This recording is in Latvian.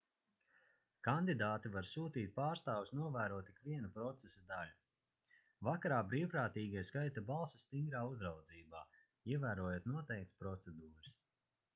kandidāti var sūtīt pārstāvjus novērot ikvienu procesa daļu vakarā brīvprātīgie skaita balsis stingā uzraudzībā ievērojot noteiktas procedūras